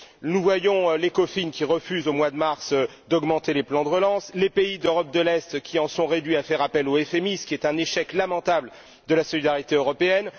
Nous voyons l'Ecofin qui refuse, au mois de mars, d'augmenter les plans de relance ou les pays d'Europe de l'Est qui en sont réduits à faire appel au FMI, ce qui est un échec lamentable de la solidarité européenne